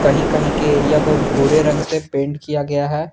कहीं कहीं के एरिया को भूरे रंग से पेंट किया गया है।